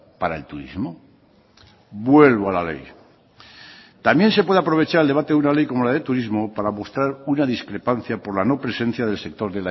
para el turismo vuelvo a la ley también se puede aprovechar el debate de una ley como la del turismo para mostrar una discrepancia por la no presencia del sector